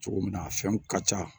Cogo min na a fɛnw ka ca